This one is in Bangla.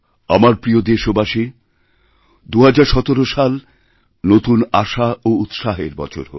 আমার প্রিয় দেশবাসী ২০১৭ সাল নতুন আশা ওউৎসাহের বছর হোক